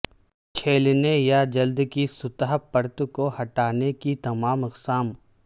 چھیلنے یا جلد کی سطح پرت کو ہٹانے کی تمام اقسام